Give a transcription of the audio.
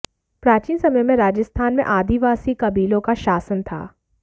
प्राचीन समय में राजस्थान में आदिवासी कबीलों का शासन था